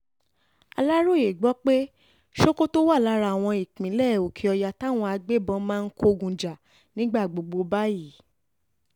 aláròye gbọ́ pé sokoto wà lára àwọn ìpínlẹ̀ òkè-ọ̀yà táwọn agbébọ́n máa ń kógun jà nígbà gbogbo báyìí